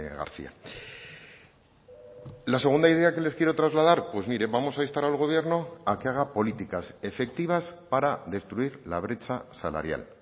garcía la segunda idea que les quiero trasladar pues mire vamos a instar al gobierno a que haga políticas efectivas para destruir la brecha salarial